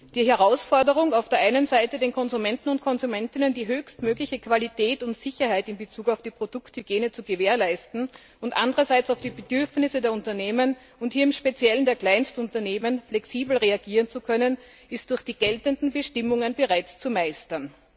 Die Herausforderung, auf der einen Seite den Konsumentinnen und Konsumenten die höchstmögliche Qualität und Sicherheit in Bezug auf die Produkthygiene zu gewährleisten, und andererseits auf die Bedürfnisse der Unternehmen, und hier im speziellen der Kleinstunternehmen, flexibel reagieren zu können, ist durch die geltenden Bestimmungen bereits zu meistern.